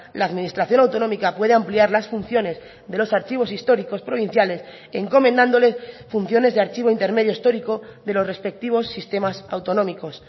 la administración autonómica puede ampliar las funciones de los archivos históricos provinciales encomendándole funciones de archivo intermedio histórico de los respectivos sistemas autonómicos